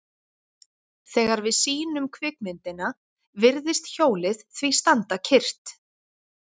Þegar við sýnum kvikmyndina virðist hjólið því standa kyrrt.